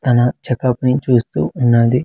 తన check up ని చూస్తూ ఉన్నది.